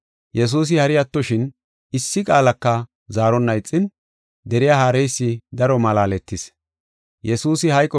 Yesuusi hari attoshin, issi qaalaka zaaronna ixin, deriya haareysi daro malaaletis.